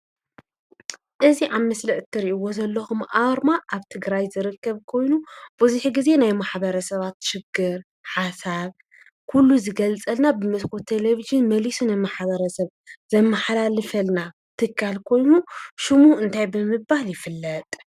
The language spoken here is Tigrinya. እዚ ኣብ ምስሊ እትሪእዎ ዘለኹም ኣርማ ኣብ ትግራይ ኮይኑ ብዙሕ ግዜ ናይ ማሕበረሰባት ችግር፣ ሓሳብ ኩሉ ዝገልፀልና ብመስኮት ቴለቨዥን መሊሱ ንማሕበረሰብ ዘመሓላልፈልና ትካል ኮይኑ ሽሙ እንታይ ብምባል ይፍለጥ?